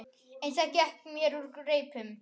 En það gekk mér úr greipum.